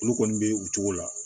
Olu kɔni bɛ u cogo la